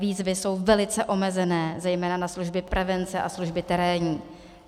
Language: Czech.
Výzvy jsou velice omezené zejména na služby prevence a služby terénní.